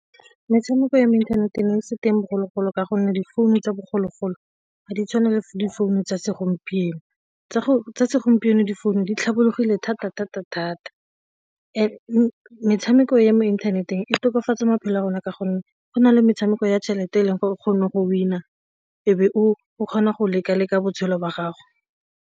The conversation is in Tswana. Metshameko ya mo internet e ne e se teng bogologolo ka gonne difounu tsa bogologolo ga di tshwane le difounu tsa segompieno tsa segompieno difounu di tlhabologile thata thata thata metshameko ya mo inthaneteng e tokafatsaa maphelo a rona ka gonne go na le metshameko ya tšhelete e leng gore o kgone gore wena e be o kgona go leka-lekanya botshelo jwa gago.